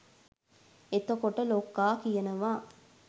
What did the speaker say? එතකොට ලොක්කා කියනවා